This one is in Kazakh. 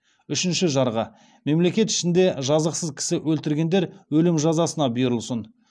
үшінші жарғы мемлекет ішінде жазықсыз кісі өлтіргендер өлім жазасына бұйырылсын